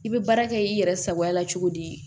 I bɛ baara kɛ i yɛrɛ sagoya la cogo di